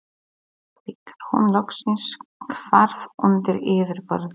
þegar hún loksins hvarf undir yfirborðið.